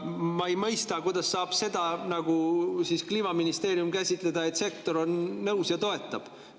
Ma ei mõista, kuidas saab Kliimaministeerium käsitleda seda nii, et sektor on nõus ja toetab.